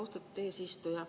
Austatud eesistuja!